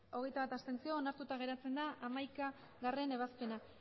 berrogeita hamalau abstentzioak hogeita bat onartuta geratzen da hamaikagarrena ebazpena